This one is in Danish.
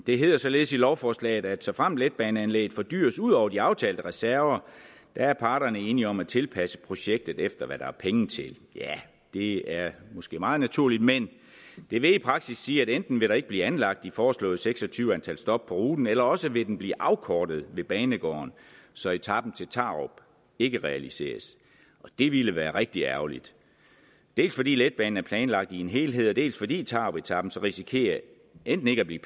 det hedder således i lovforslaget at såfremt letbaneanlægget fordyres ud over de aftalte reserver er parterne enige om at tilpasse projektet efter hvad der er penge til ja det er måske meget naturligt men det vil i praksis sige at enten vil der ikke bliver anlagt de foreslåede seks og tyve antal stop på ruten eller også vil den blive afkortet ved banegården så etapen til tarup ikke realiseres det ville være rigtig ærgerligt dels fordi letbanen er planlagt i en helhed dels fordi tarupetapen så risikerer enten ikke at blive